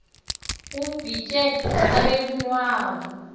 abhitye abe lunwabu